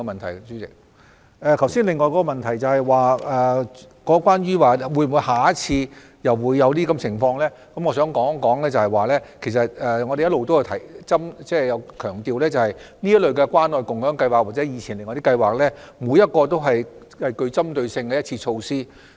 至於另一個問題，即下次會否再次出現類似的情況，我想指出，我們一直強調關愛共享計劃或以前的其他計劃都是具針對性的一次性措施。